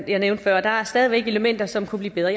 jeg nævnte før der er stadig væk elementer som kunne blive bedre